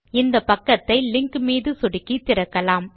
இந்த பக்கத்தை லிங்க் மீது சொடுக்கி திறக்கலாம்